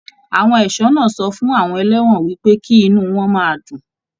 Àwọn ẹṣọ náà sọ fún àwọn ẹlẹwọn wípé kí inú wọn máa dùn.